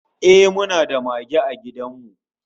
Ehh, muna da mage a gidan mu